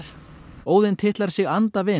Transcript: Óðinn titlar sig